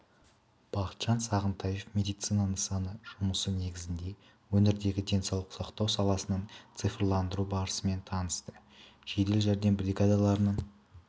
бақытжан сағынтаев медицина нысаны жұмысы негізінде өңірдегі денсаулық сақтау саласының цифрландыру барысымен танысты жедел жәрдем бригадаларының